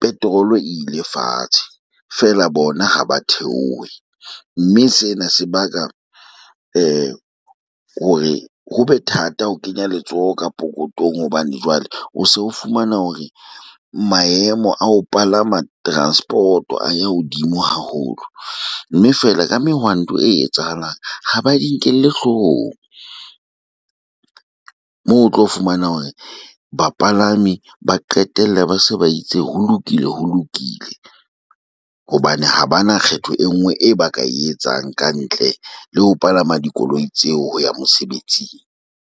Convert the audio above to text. petrol ile fatshe feela bona ha ba theohe, mme sena se baka hore ho be thata ho kenya letsoho ka pokothong. Hobane jwale o se o fumana hore maemo a ho palama transport-o a ya hodimo haholo, mme feela ka mehwanto e etsahalang ha ba di nkelle hloohong. Moo o tlo fumana hore bapalami ba qetelle ba se ba itse ho lokile ho lokile hobane ha ba na kgetho e nngwe e ba ka e etsang ka ntle le ho palama dikoloi tseo ho ya mosebetsing.